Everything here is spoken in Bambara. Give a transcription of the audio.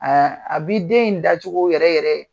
A a bi den in dacogo yɛrɛ yɛrɛ